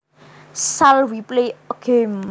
Shall we play a game